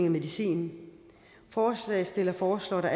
af medicin forslagsstillerne foreslår at der